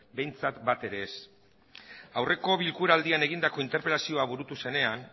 behintzat bat ere ez aurreko bilkura aldian egindako interpelazioa burutu zenean